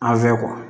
An fɛ